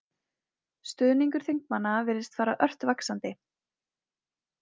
Stuðningur þingmanna virðist fara ört vaxandi